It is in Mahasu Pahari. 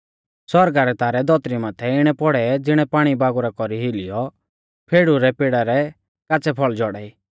आसमाना रै तारै धौतरी माथै इणै पौड़ै ज़िणै पाणीबागुरा कौरी हिलीऔ अंजीरा रै पेड़ा रै काच़्च़ै फल़ झौड़ाई